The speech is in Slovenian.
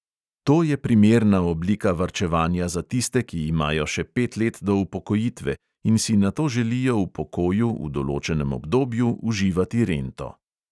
To je primerna oblika varčevanja za tiste, ki imajo še pet let do upokojitve in si nato želijo v pokoju v določenem obdobju uživati rento.